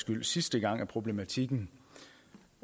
skyld sidste gang at problematikken